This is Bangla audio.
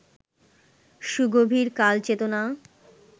সুগভীর কালচেতনা